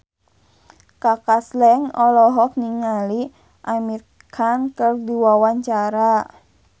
Kaka Slank olohok ningali Amir Khan keur diwawancara